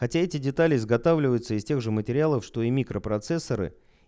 хотя эти детали изготавливаются из тех же материалов что и микропроцессоры